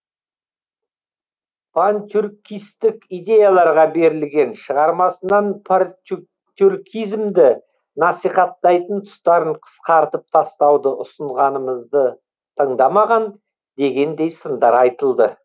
пантюркистік идеяларға берілген шығармасынан тюркизмді насихаттайтын тұстарын қысқартып тастауды ұсынғанымызды тыңдамаған дегендей сындар айтылды